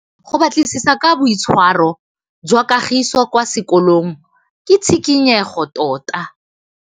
Go batlisisa ka boitshwaro jwa Kagiso kwa sekolong ke tshikinyêgô tota.